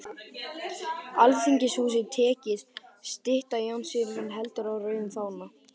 Alþingishúsið tekið, stytta Jóns Sigurðssonar heldur á rauðum fána